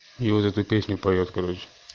и вот эту песню поёт короче